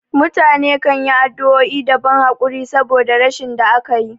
Mutane kanyi addu'o'i da ban hakuri saboda rashin da akayi